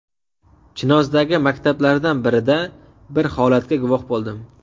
Chinozdagi maktablardan birida bir holatga guvoh bo‘ldim.